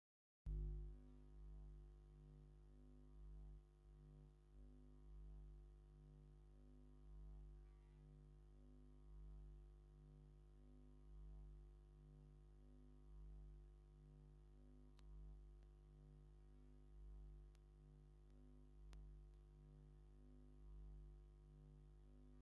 ብዘገርም መልክዑ ተመሳሳሊ ባህላዊ ኣከዳድና! እተን ኣብ ስእሊ ዘለዋ ደቂ ኣንስትዮ ተመሳሳሊ ጽቡቕ ዩኒፎርም ተኸዲነን ኣለዋ! ጽሬት! እቲ ክዳውንቲ ብቐንዱ ጻዕዳ ኮይኑ፡ ሰማይ/ፍኹስ ዝበለ ሰማያዊ ጥልፊ ወይ ስልማት ኣለዎ!